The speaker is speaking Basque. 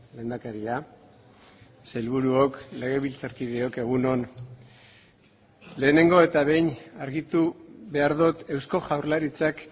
lehendakaria sailburuok legebiltzarkideok egun on lehenengo eta behin argitu behar dut eusko jaurlaritzak